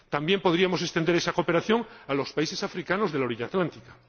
también podríamos extender esa cooperación a los países africanos de la orilla atlántica.